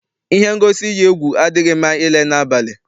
Ihe ngosi iyi egwu adịghị mma ile n'abalị.